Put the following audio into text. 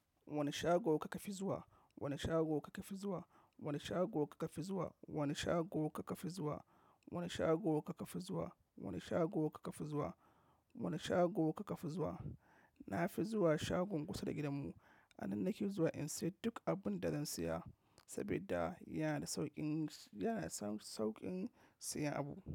Wane shago kuka fi zuwa? Wane shago kuka fi zuwa? Wani shago kuka fi zuwa? Wani shago kuka fi zuwa? Wani shago kuka fi zuwa? Wani shago kuka fi zuwa? Wani shago kuka fi zuwa? Na fi zuwa shagon kusa da gidanmu. A nan nake zuwa in sayi duk abun da zan siya saboda yana da sauƙin, yana da sauƙin siyan abu.